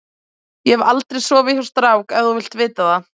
Ég hef aldrei sofið hjá strák ef þú vilt vita það.